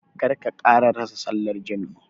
Kar ka ƙara rasa sallar jam'i.